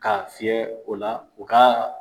K'a fiyɛ o la u ka